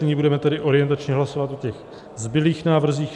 Nyní budeme tedy orientačně hlasovat o těch zbylých návrzích.